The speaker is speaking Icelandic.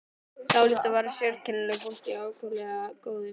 Dálítið var þar af sérkennilegu fólki en ákaflega góðu.